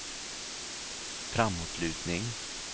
framåtlutning